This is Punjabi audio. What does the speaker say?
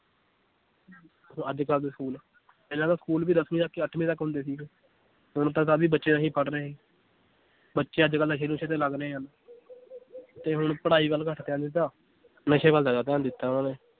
ਅੱਜ ਕੱਲ੍ਹ ਦੇ school ਪਹਿਲਾਂ ਤਾਂ school ਵੀ ਦਸਵੀਂ ਤੱਕ ਹੀ, ਅੱਠਵੀਂ ਤੱਕ ਹੁੰਦੇ ਸੀਗੇ, ਹੁਣ ਤਾਂ ਕਾਫ਼ੀ ਬੱਚੇ ਰਹੇ ਬੱਚੇ ਅੱਜ ਕੱਲ੍ਹ ਨਸ਼ੇ ਨੁਸ਼ੇ ਤੇ ਲੱਗ ਰਹੇ ਹਨ ਤੇ ਹੁਣ ਪੜ੍ਹਾਈ ਵੱਲ ਘੱਟ ਧਿਆਨ ਨਸ਼ੇ ਵੱਲ ਜ਼ਿਆਦਾ ਧਿਆਨ ਦਿੱਤਾ